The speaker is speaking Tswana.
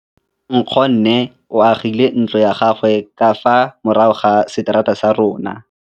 Nkgonne o agile ntlo ya gagwe ka fa morago ga seterata sa rona.